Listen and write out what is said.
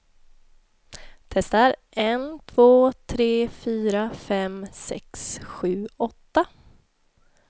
Testar en två tre fyra fem sex sju åtta.